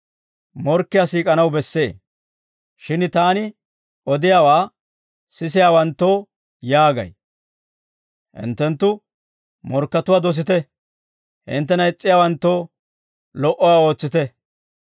«Shin Taani odiyaawaa sisiyaawanttoo yaagay: hinttenttu morkkatuwaa dosite; hinttena is's'iyaawanttoo, lo"uwaa ootsite;